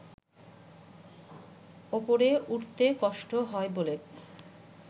ওপরে উঠতে কষ্ট হয় বলে